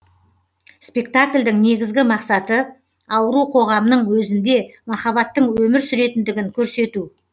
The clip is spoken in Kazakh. спектакльдің негізгі мақсаты ауру қоғамның өзінде маххабаттың өмір сүретіндігін көрсету